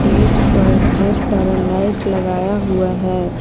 Stage पर ढेर सारा लाइट लगाया हुआ है।